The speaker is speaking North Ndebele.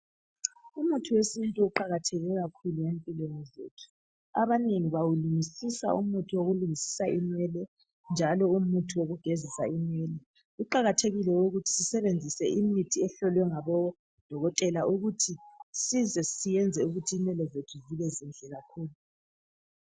Umuthi wesintu uqakatheke kakhulu empilweni zethu, abanengi bawulungisisa umuthi wokulungisisa inwele njalo umuthi wokugezisa inwele. Kuqakathekile ukuthi sisebenzise imithi ehlolwe ngabodokotela ukuthi size siyenze ukuthi inwele zethu zibe zinhle kakhulu